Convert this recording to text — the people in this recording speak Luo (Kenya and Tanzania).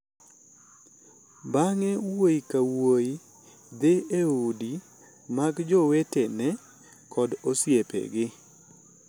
Bang’e, wuoyi ka wuoyi dhi e udi mag jowetene kod osiepegi,